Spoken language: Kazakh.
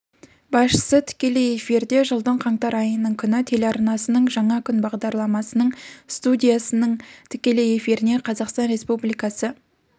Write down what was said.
басшысы тікелей эфирде жылдың қаңтар айының күні телеарнасының жаңа күн бағдарламасының студиясының тікелей эфиріне қазақстан республикасы